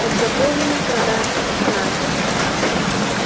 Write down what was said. подготовлено к продаже значит